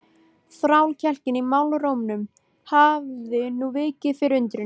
Þrákelknin í málrómnum hafði nú vikið fyrir undrun.